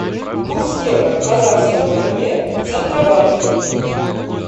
курс евро к казахскому тенге в центробанке